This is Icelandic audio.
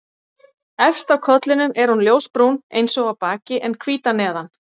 Efst á kollinum er hún ljósbrún eins og á baki en hvít að neðan.